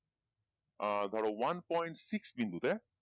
আহ ধরো one point six বিন্দুতে